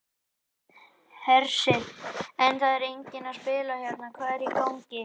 Hersir: En það er enginn að spila hérna, hvað er í gangi?